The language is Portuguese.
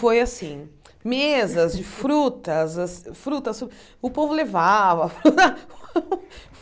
Foi assim, mesas de frutas as frutas, o povo levava.